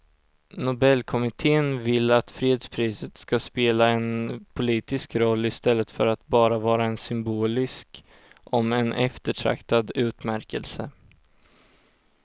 Nobelkommittén vill att fredspriset ska spela en politisk roll i stället för att bara vara en symbolisk om än eftertraktad utmärkelse.